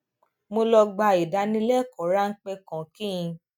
mo lọ gba ìdálékòó ráńpé kan kí n